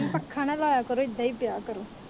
ਹੁਣ ਪੱਖਾ ਨਾ ਲਾਇਆ ਕਰੋ ਏਦਾਂ ਹੀ ਪੇਆ ਕਰੋ